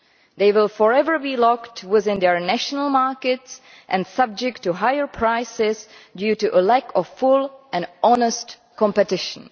They will forever be locked within their national markets and subject to higher prices due to a lack of full and honest competition.